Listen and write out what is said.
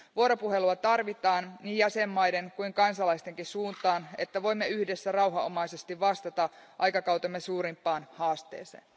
Vuoropuhelua tarvitaan niin jäsenvaltioiden kuin kansalaistenkin suuntaan, että voimme yhdessä rauhanomaisesti vastata aikakautemme suurimpaan haasteeseen.